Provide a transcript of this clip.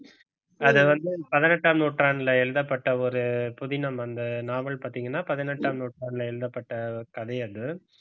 அதை வந்து பதினெட்டாம் நூற்றாண்டில எழுதப்பட்ட ஒரு புதினம் அந்த நாவல் பார்த்தீங்கன்னா பதினெட்டாம் நூற்றாண்டில எழுதப்பட்ட கதை அது